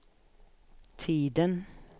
tiden